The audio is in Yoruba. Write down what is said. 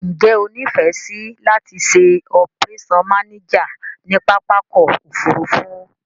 Njé o nífèsì láti se operation manager ni pápákò òfurufú